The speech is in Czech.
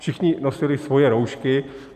Všichni nosili svoje roušky.